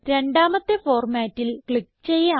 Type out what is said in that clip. രണ്ടാമത്തെ ഫോർമാറ്റിൽ ക്ലിക്ക് ചെയ്യാം